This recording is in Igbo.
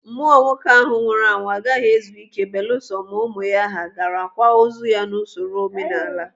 Mmụọ nwoke ahụ nwụrụ anwụ agaghị ezu ike belusọ ma ụmụ ya hà gara kwaa ozu n'usoro omenala.